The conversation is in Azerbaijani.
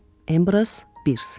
Embraz Birs.